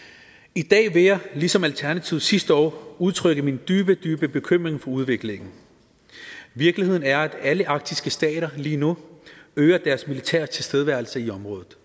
i dag vil jeg ligesom alternativet sidste år udtrykke min dybe dybe bekymring for udviklingen virkeligheden er at alle arktiske stater lige nu øger deres militære tilstedeværelse i området